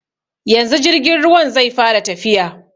Yanzu jirgin ruwan zai fara tafiya.